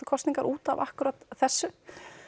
kosningar útaf akkúrat þessu